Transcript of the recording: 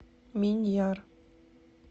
миньяр